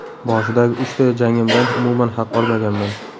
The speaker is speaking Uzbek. Boshidagi uchta jangimdan umuman haq olmaganman.